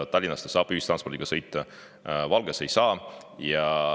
Tallinnas saab ühistranspordiga sõita, Valgas ei saa.